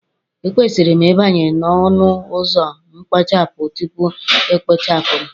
Ekwesịrị m ịbanye n'ọnụ ụzọ mkpochapụ, tupu e kpochapụ m.